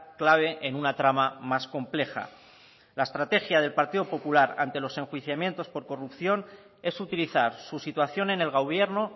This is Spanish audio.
clave en una trama más compleja la estrategia del partido popular ante los enjuiciamientos por corrupción es utilizar su situación en el gobierno